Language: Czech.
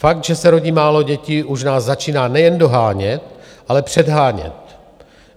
Fakt, že se rodí málo dětí, už nás začíná nejen dohánět, ale předhánět.